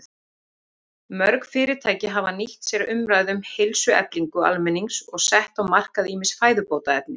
Mörg fyrirtæki hafa nýtt sér umræðu um heilsueflingu almennings og sett á markað ýmis fæðubótarefni.